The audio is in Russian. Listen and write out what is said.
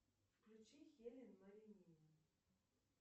включи хелен ларинины